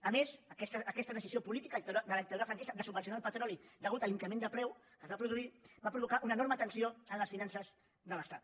a més aquesta decisió política de la dictadura franquista de subvencionar el petroli a causa de l’increment de preu que es va produir va provocar una enorme tensió en les finances de l’estat